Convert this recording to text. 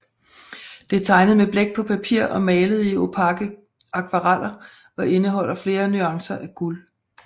Det er tegnet med blæk på papir og malet i opake akvareller og indeholder flere nuancer af guld